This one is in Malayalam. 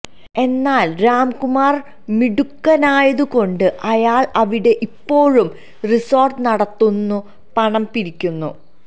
എന്നാല് രാംകുമാര് മിടുക്കനായതുകൊണ്ട് അയാള് അവിടെ ഇപ്പോഴും റിസോര്ട്ട് നടത്തുന്നു പണം പിരിക്കുന്നു